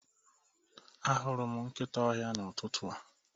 Ahụrụ m nkịta ọhịa n'ụtụtụ a.